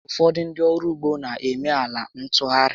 Ụfọdụ ndị ọrụ ụgbọ na eme ala ntụgharị